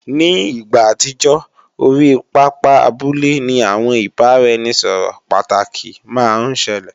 Ní ìgbà àtijọ́, orí pápá abúlé ni àwọn ìbáraẹnisọ̀rọ̀ pàtàkì máa ń ṣẹlẹ̀